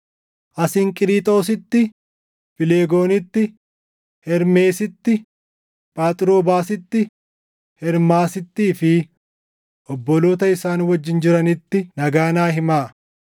Asinqiriixoositti, Fileegoonitti, Hermeesitti, Phaaxroobaasitti, Hermaasittii fi obboloota isaan wajjin jiranitti nagaa naa himaa.